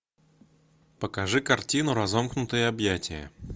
покажи картину разомкнутые объятия